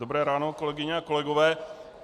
Dobré ráno, kolegyně a kolegové.